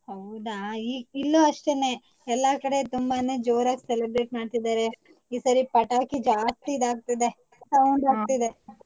ಹೌದಾ ಇಲ್ಲೂ ಅಷ್ಟೇನೆ ಎಲ್ಲಾ ಕಡೆ ತುಂಬಾನೆ ಜೋರಾಗ್ celebrate ಮಾಡ್ತಿದಾರೆ. ಈ ಸರಿ ಪಟಾಕಿ ಜಾಸ್ತಿ ಇದಾಗ್ತಿದೆ. sound ಬರ್ತಿದೆ.